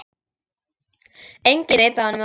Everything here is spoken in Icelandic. Enginn veit af honum þar.